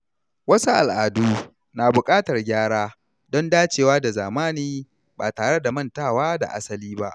Wasu al’adu na buƙatar gyara don dacewa da zamani ba tare da mantawa da asali ba.